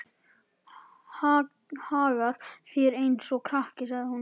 Hagar þér eins og krakki, sagði hún.